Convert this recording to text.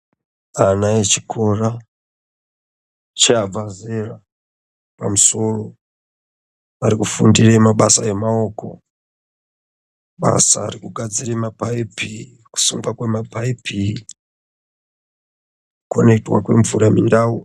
Ana echikora chabva zera pamsoro, varikufundire mabasa emawoko. Basa rekugadzire mapayipi, kusungwa kwemapayipi, kukhonekithwa kwemvura mundau.